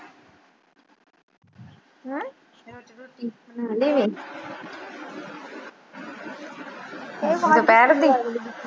ਦੁਪਹਿਰ ਦੀ।